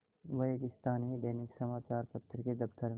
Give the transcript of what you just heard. वह एक स्थानीय दैनिक समचार पत्र के दफ्तर में